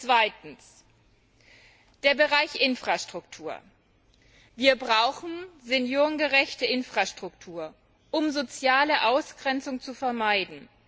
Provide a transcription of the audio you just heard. Zweitens der Bereich Infrastruktur Wir brauchen eine seniorengerechte Infrastruktur, um soziale Ausgrenzung zu vermeiden.